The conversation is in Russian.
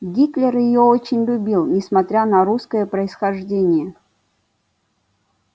гитлер её очень любил несмотря на русское происхождение